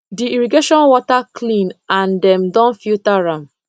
the irrigation water clean and dem don filter am